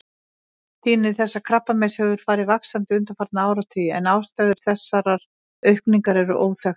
Tíðni þessa krabbameins hefur farið vaxandi undanfarna áratugi en ástæður þessarar aukningar eru óþekktar.